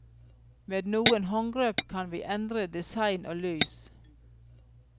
Med noen håndgrep kan vi endre design og lys.